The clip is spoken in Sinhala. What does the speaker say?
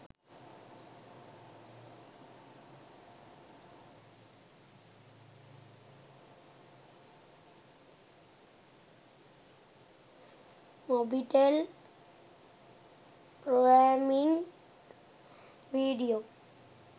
mobitel roaming video